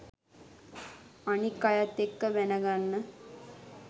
අනික් අයත් එක්ක බැනගන්න